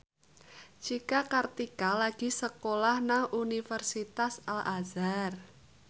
Cika Kartika lagi sekolah nang Universitas Al Azhar